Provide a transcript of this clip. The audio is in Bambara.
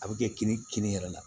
A bɛ kɛ kini kini yɛrɛ la